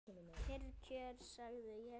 Kyrr kjör, sagði ég.